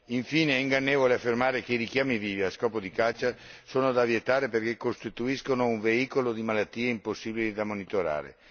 Infine, è ingannevole affermare che i richiami vivi a scopo di caccia sono da vietare perché costituiscono un veicolo di malattie impossibili da monitorare.